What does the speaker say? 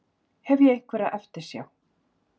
Hef ég einhverja eftirsjá?